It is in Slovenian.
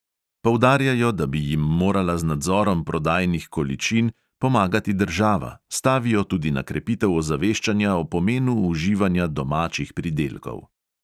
Poudarjajo, da bi jim morala z nadzorom prodajnih količin pomagati država, stavijo tudi na krepitev ozaveščanja o pomenu uživanja domačih pridelkov.